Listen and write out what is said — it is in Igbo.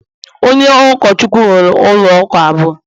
Onye Ụkọchukwu m nwere ụlọ ụka abụọ